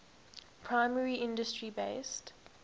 primary industry based